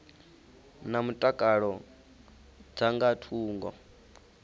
na mutakalo dza nga thungo